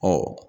Ɔ